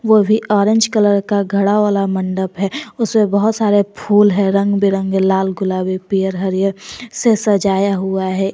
वो भी orange colour का घड़ा वाला मंडप है उसमें बहोत सारे फूल है रंग बिरंगे लाल गुलाबी पियर हरियर से सजाया हुआ है।